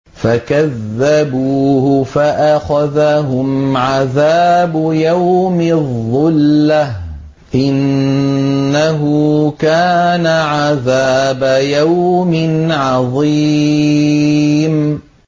فَكَذَّبُوهُ فَأَخَذَهُمْ عَذَابُ يَوْمِ الظُّلَّةِ ۚ إِنَّهُ كَانَ عَذَابَ يَوْمٍ عَظِيمٍ